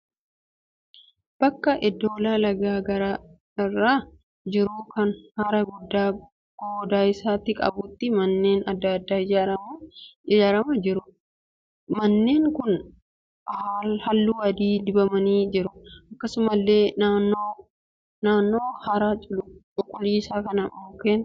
Bakka eddola lagaa gaara irra jiru kan hara guddaa gooda isaatii qabutti manneen adda addaa ijaaramanii jiru. Manneen kun halluu adiin dibamanii jiru. Akkasumallee naannoo hara cuquliisa kanaa mukkeen gaggabaaboo halluu magariisaa baay'eetu jira.